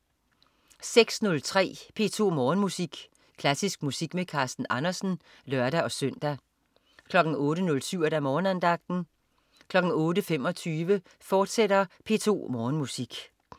06.03 P2 Morgenmusik. Klassisk musik med Carsten Andersen (lør-søn) 08.07 Morgenandagten 08.25 P2 Morgenmusik, fortsat